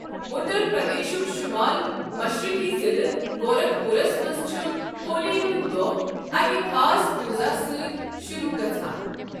اُتر پردیشُک شُمال مشرقی ضلعہٕ گورکھ پوٗرَس منٛز چھُ ہولی ہُنٛد دۄہ اَکہِ خاص پوٗزا سۭتۍ شروٛع گژھان۔